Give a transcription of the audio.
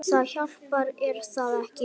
Það hjálpar er það ekki?